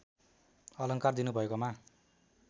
अलङ्कार दिनुभएकोमा